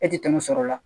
E tɛ tɛmɛ sɔrɔ la